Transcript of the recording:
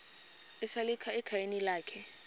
esalika ekhayeni lakhe